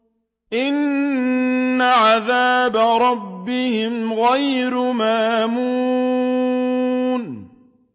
إِنَّ عَذَابَ رَبِّهِمْ غَيْرُ مَأْمُونٍ